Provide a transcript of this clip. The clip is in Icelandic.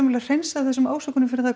hreinsað af þessum ásökunum fyrr en það